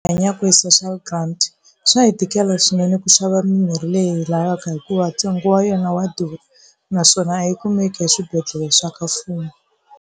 Hanyaka hi social grant swa hi tikela swinene ku xava mimirhi leyi lavaka hikuva ntsengo wa yena wa durha naswona a yi kumeki eswibedhlele swa ka mfumo.